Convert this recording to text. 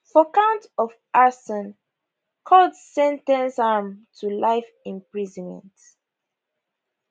for count of arson court sen ten ce am to life imprisonment